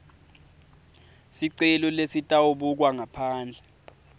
sicelo lesitawubukwa ngaphandle